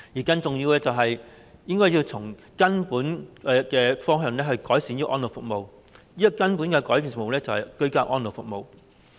更重要的是，政府應該從根本方向改善安老服務，即是提供居家安老服務。